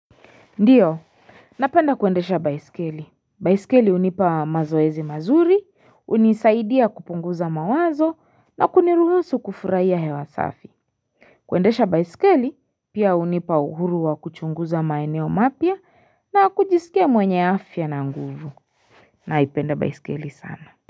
Ndiyo, napenda kuendesha baiskeli. Baiskeli hunipa mazoezi mazuri, hunisaidia kupunguza mawazo, na kuniruhusu kufurahia hewa safi. Kwendesha baiskeli pia unipa uhuru wa kuchunguza maeneo mapia na kujisikia mwenye afya na nguvu. Naipenda baiskeli sana.